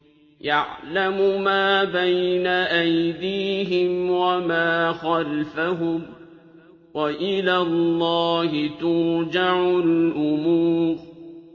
يَعْلَمُ مَا بَيْنَ أَيْدِيهِمْ وَمَا خَلْفَهُمْ ۗ وَإِلَى اللَّهِ تُرْجَعُ الْأُمُورُ